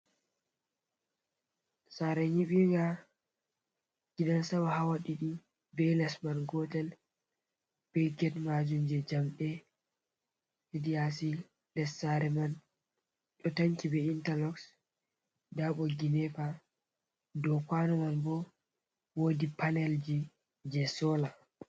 Sare nyibinga. Gidan sama hawa ɗiɗi. Be les man gotel. Be get majum je jamɗe heɗi yasi. Ɗer sare man ɗo tanki be intaloss. Ɗabo boggi nepa. Ɗow kwano man bo woɗi panelji je sola.